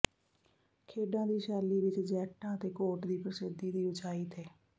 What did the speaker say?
ਖੇਡਾਂ ਦੀ ਸ਼ੈਲੀ ਵਿਚ ਜੈਕਟਾਂ ਅਤੇ ਕੋਟ ਦੀ ਪ੍ਰਸਿੱਧੀ ਦੀ ਉਚਾਈ ਤੇ